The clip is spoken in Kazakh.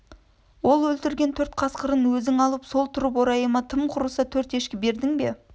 ол өлтірген төрт қасқырын өзің алып тұрып орайына тым құрыса төрт ешкі бердің бе